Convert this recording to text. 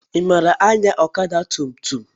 I maara anya ọgba tum tum?